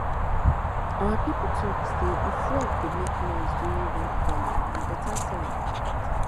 our people dey talk say if frog dey make noise during raincalling na better sign be that